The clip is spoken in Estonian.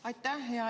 Aitäh!